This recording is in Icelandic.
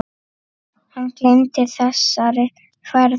Hann gleymir þessari ferð aldrei.